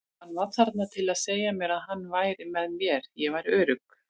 Hann var þarna til að segja mér að hann væri með mér, ég væri örugg.